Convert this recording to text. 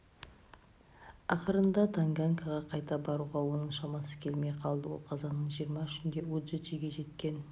ақырында танганьикаға қайта баруға оның шамасы келмей қалды ол қазанның жиырма үшінде уджиджиге жеткен